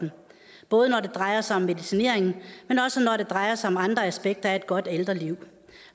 dem både når det drejer sig om medicinering men også når det drejer sig om andre aspekter af et godt ældreliv